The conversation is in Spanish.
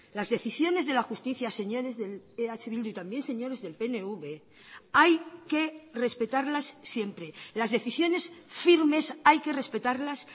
las decisiones de la justicia señores del eh bildu y también señores del pnv hay que respetarlas siempre las decisiones firmes hay que respetarlas